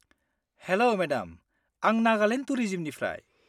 हेल' madam, आं नागालेन्ड टुरिजिमनिफ्राय।